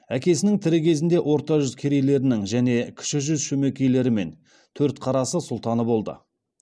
әкесінің тірі кезінде орта жүз керейлерінің және кіші жүз шөмекейлері мен төртқарасы сұлтаны болды